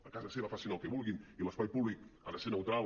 a casa seva facin el que vulguin i l’espai públic ha de ser neutral